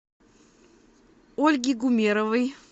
ольги гумеровой